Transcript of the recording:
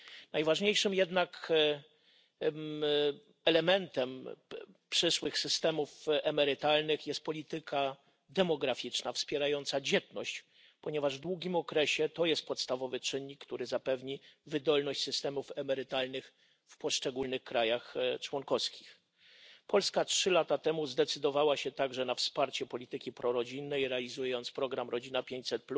Najważniejszym jednak elementem przyszłych systemów emerytalnych jest polityka demograficzna wspierająca dzietność, ponieważ w długim okresie jest to podstawowy czynnik, który zapewni wydolność systemów emerytalnych w poszczególnych państwach członkowskich. Trzy lata temu Polska zdecydowała się także na wsparcie polityki prorodzinnej, realizując program Rodzina 500,